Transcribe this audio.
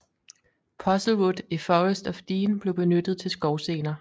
Puzzlewood i Forest of Dean blev benyttet til skovscener